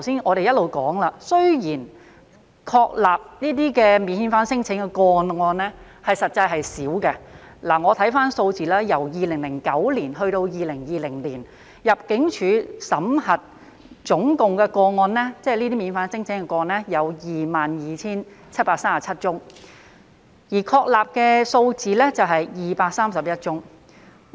我們一直說，雖然確立這些免遣返聲請的個案實際上很少，我看回有關數字，由2009年至2020年，香港入境事務處審核免遣返聲請的總個案為 22,737 宗，而確立的數字為231宗。